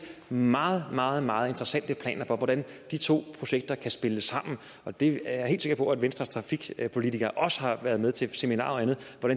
meget meget meget interessante planer for hvordan de to projekter kan spille sammen og det er jeg helt sikker på at venstres trafikpolitikere også har været med til seminarer og andet